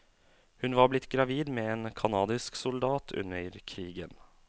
Hun var blitt gravid med en canadisk soldat under krigen.